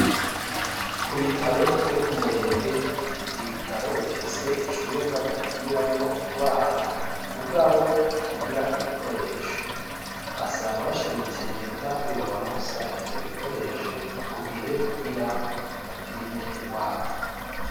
Ku bitaro vyo ku Murenge, ni ibitaro bifise icumba bapimiramwo ingwara, mugabo kitagira ibikoresho; basaba bashimitse leta, ko yobaronsa ivyo bikoresho ku gihe, kugira bapime ingwara.